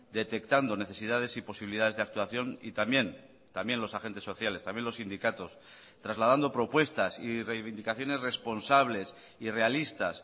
detectando necesidades y posibilidades de actuación y también también los agentes sociales también los sindicatos trasladando propuestas y reivindicaciones responsables y realistas